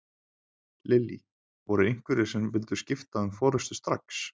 Lillý: Voru einhverjir sem vildu skipta um forystu strax?